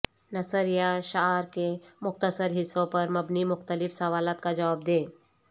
نثر یا شعر کے مختصر حصوں پر مبنی مختلف سوالات کا جواب دیں